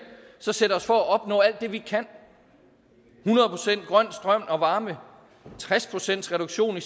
så sætte os for at opnå alt det vi kan hundrede procent grøn strøm og varme tres pcts reduktion